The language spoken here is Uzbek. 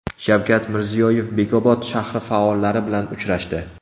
Shavkat Mirziyoyev Bekobod shahri faollari bilan uchrashdi.